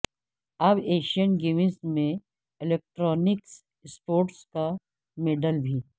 اب Asian games میں electronics sports کا میڈل بھی